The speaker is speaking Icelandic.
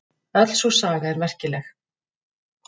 Öll sú saga er merkileg.